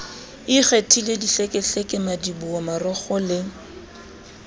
ikgethileng dihlekehleke madiboho marokgo le